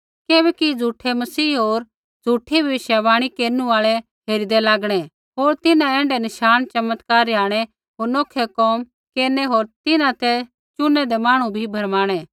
किबैकि झ़ूठै मसीह होर भविष्यवाणी केरनु आल़ै हेरिदै लागणै होर तिन्हां ऐण्ढै नशाण चमत्कार रिहाणै होर नोखै कोम केरनै होर तिन्हां ते चुनैदै मांहणु भी भरमाणै